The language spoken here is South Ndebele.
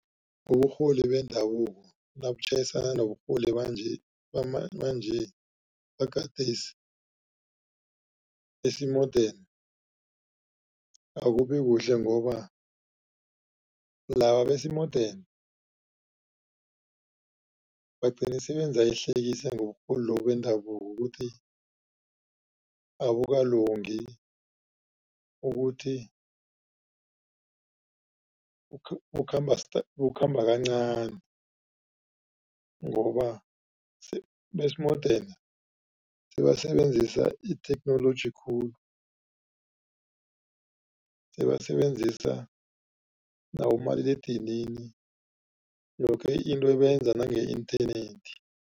Uburholi bendabuko nabutjhayisana noburholi banje, banje bagadesi besimodeni akubi kuhle. Ngoba laba besimodeni bagcina sebenza ihlekisa ngoburholi lobu bendabuko ukuthi abukalungi, ukuthi kukhamba kancani ngoba besimodeni sebasebenzisa itheknoloji khulu. Sebasebenzisa nabomaliledinini yoke into bayenza nange internet.